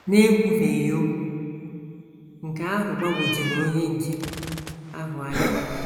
N’ekwufeghị okwu, nke ahụ gbagwojuru onye nche ahụ anya.